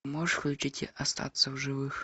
можешь включить остаться в живых